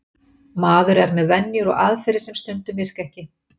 Maður er með venjur og aðferðir sem stundum virka ekki.